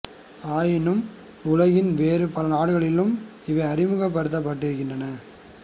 ஆயினும் உலகின் வேறு பல நாடுகளிலும் இவை அறிமுகப்படுத்தப்பட்டு இருக்கின்றன